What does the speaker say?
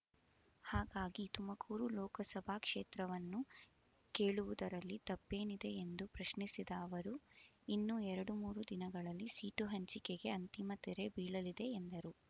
ಹಾಗಾಗಿ ತುಮಕೂರು ಲೋಕಸಭಾ ಕ್ಷೇತ್ರವನ್ನು ಕೇಳುವುದರಲ್ಲಿ ತಪ್ಪೇನಿದೆ ಎಂದು ಪ್ರಶ್ನಿಸಿದ ಅವರು ಇನ್ನು ಎರಡು ಮೂರು ದಿನಗಳಲ್ಲಿ ಸೀಟು ಹಂಚಿಕೆಗೆ ಅಂತಿಮ ತೆರೆ ಬೀಳಲಿದೆ ಎಂದರು